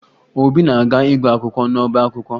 Obi na-aga ịgụ akwụkwọ n'ọba akwụkwọ